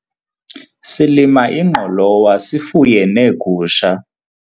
silima ingqolowa sifuye neegusha